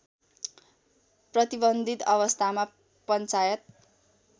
प्रतिबन्धित अवस्थामा पञ्चायत